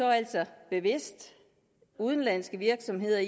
altså bevidst udenlandske virksomheder